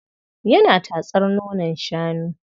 Yana tatsar nonon shanu.